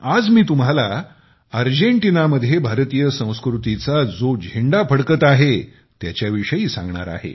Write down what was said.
आज मी तुम्हाला अर्जेंटिनामध्ये भारतीय संस्कृतीचा जो झेंडा फडकत आहे त्याच्याविषयी सांगणार आहे